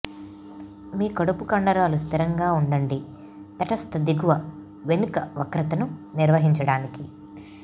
మీ కడుపు కండరాలు స్థిరంగా ఉండండి తటస్థ దిగువ వెనుక వక్రతను నిర్వహించడానికి